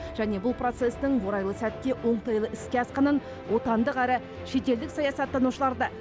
және бұл процестің орайлы сәтте оңтайлы іске асқанын отандық әрі шетелдік саясаттанушылар да